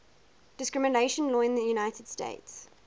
discrimination law in the united states